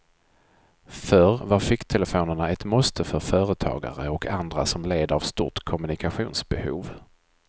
Förr var ficktelefonerna ett måste för företagare och andra som led av stort kommunikationsbehov.